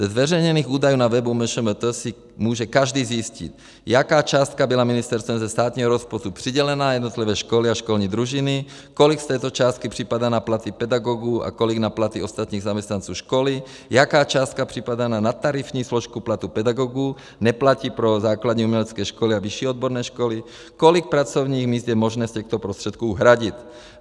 Ze zveřejněných údajů na webu MŠMT si může každý zjistit, jaká částka byla ministerstvem ze státního rozpočtu přidělená, jednotlivé školy a školní družiny, kolik z této částky připadá na platy pedagogů a kolik na platy ostatních zaměstnanců školy, jaká částka připadá na nadtarifní složku platu pedagogů, neplatí pro základní umělecké školy a vyšší odborné školy, kolik pracovních míst je možné z těchto prostředků hradit.